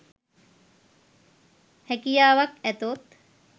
හැකියාවක් ඇතොත්